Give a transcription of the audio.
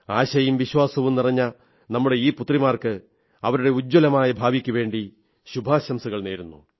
ആശയും വിശ്വാസവും നിറഞ്ഞ നമ്മുടെ ഈ പുത്രിമാർക്ക് അവരുടെ ഉജ്ജ്വലമായ ഭാവിക്കുവേണ്ടി ശുഭാശംസകൾ നേരുന്നു